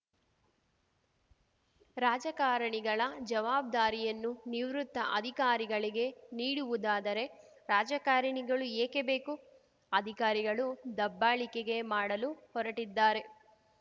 ರಾಜಕಾರಣಿಗಳ ಜವಾಬ್ದಾರಿಯನ್ನೂ ನಿವೃತ್ತ ಅಧಿಕಾರಿಗಳಿಗೆ ನೀಡುವುದಾದರೆ ರಾಜಕಾರಣಿಗಳು ಏಕೆ ಬೇಕು ಅಧಿಕಾರಿಗಳು ದಬ್ಬಾಳಿಕೆಗೆ ಮಾಡಲು ಹೊರಟಿದ್ದಾರೆ